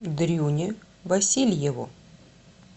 дрюне васильеву